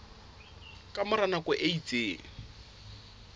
ka mora nako e itseng